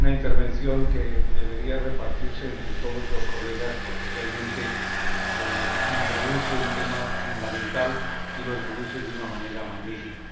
Creo que es una intervención que debería repartirse entre todos los diputados porque realmente introduce un tema fundamental y lo introduce de una manera magnífica.